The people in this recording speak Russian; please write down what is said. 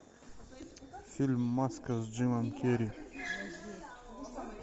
фильм маска с джимом керри